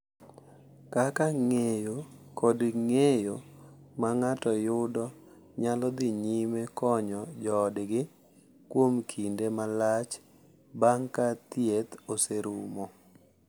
Kaka ng’eyo kod ng’eyo ma ng’ato yudo nyalo dhi nyime konyo joodgi kuom kinde malach bang’ ka thieth oserumo.